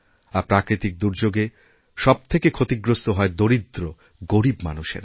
আর প্রাকৃতিক দুর্যোগে সব থেকে ক্ষতিগ্রস্তহয় দরিদ্র গরীব মানুষেরা